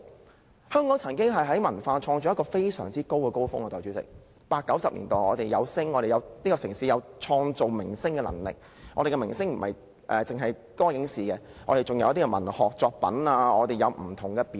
代理主席，香港曾經有一個文化創作高峰，在1980及1990年代，這個城市有創造明星的能力，我們的明星不單來自歌影視界，還有文學作品及不同表演。